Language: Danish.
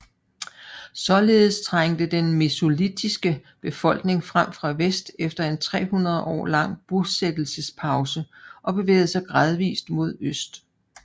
Således trængte den mesolitiske befolkning frem fra vest efter en 300 år lang bosættelsespause og bevægede sig gradvist mod øst